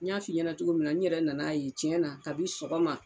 N y'a f'i ɲɛnɛ cogo min na n yɛrɛ nan'a ye cɛna kabi sɔgɔma